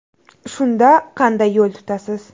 Shunda qanday yo‘l tutasiz.